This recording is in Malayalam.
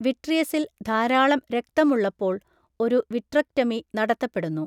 വിട്രിയസിൽ ധാരാളം രക്തം ഉള്ളപ്പോൾ ഒരു വിട്രെക്ടമി നടത്തപ്പെടുന്നു.